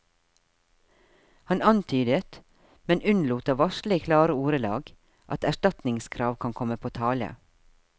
Han antydet, men unnlot å varsle i klare ordelag, at erstatningskrav kan komme på tale.